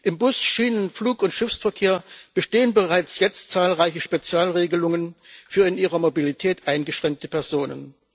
Im Bus Schienen Flug und Schiffsverkehr bestehen bereits jetzt zahlreiche Spezialregelungen für in ihrer Mobilität eingeschränkte Personen.